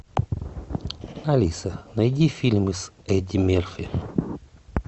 алиса найди фильмы с эдди мерфи